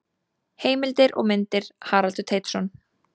Heimildir og myndir: Haraldur Teitsson.